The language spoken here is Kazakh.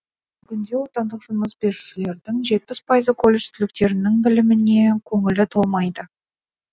бүгінде отандық жұмыс берушілердің жетпіс пайызы колледж түлектерінің біліміне көңілі толмайды